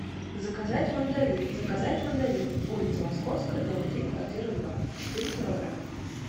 заказать мандарин заказать мандарины улица московская дом три квартира два четыре килограмма